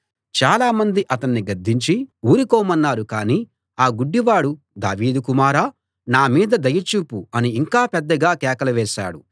చాలా మంది అతణ్ణి గద్దించి ఊరుకోమన్నారు కాని ఆ గుడ్డివాడు దావీదు కుమారా నా మీద దయ చూపు అని ఇంకా పెద్దగా కేకలు వేశాడు